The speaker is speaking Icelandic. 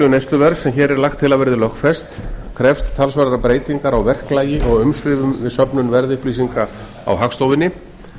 neysluverðs sem hér er lagt til að verði lögfest krefst talsverðrar breytingar á verklagi og umsvifum við söfnun verðupplýsinga á hagstofunni